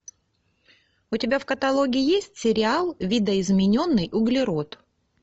у тебя в каталоге есть сериал видоизмененный углерод